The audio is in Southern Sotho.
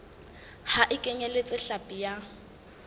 ha e kenyeletse hlapi ya